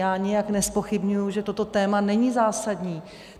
Já nijak nezpochybňuji, že toto téma není zásadní.